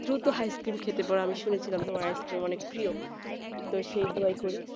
তুই তো আইসক্রিম খেতে পারো, আমি শুনেছি শুনে ছিলাম তোমার আইসক্রিম খুব প্রিয় তা সেই দোয়াই করি